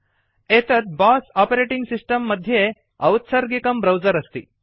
एतत् BOSS operating system मध्ये औत्सर्गिकं ब्राउजर अस्ति